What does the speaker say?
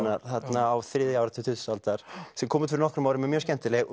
þarna á þriðja áratug tuttugustu aldar sem kom út fyrir nokkrum árum mjög skemmtileg